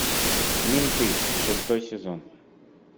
менты шестой сезон